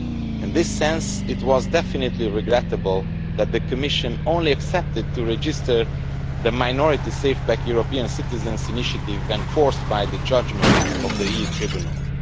In this sense, it was definitely regrettable that the Commission only agreed to register the Minority SafePack European citizens' initiative when forced by a judgment of the EU tribunal.